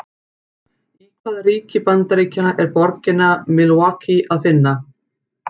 Í hvaða ríki Bandaríkjanna er borgina Milwaukee að finna?